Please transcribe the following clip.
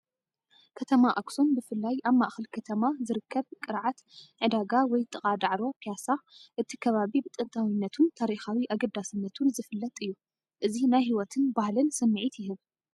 ከተማ ኣክሱም ብፍላይ ኣብ ማእኸል ከተማ ዝርከብ ቅርዓት ዕዳጋ ወይ ጥቓ ዳዕሮ ፕያሳ። እቲ ከባቢ ብጥንታዊነቱን ታሪኻዊ ኣገዳስነቱን ዝፍለጥ እዩ። እዚ ናይ ህይወትን ባህልን ስምዒት ይህብ።